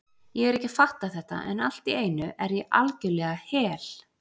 Ég er ekki að fatta þetta, en allt í einu er ég algjörlega hel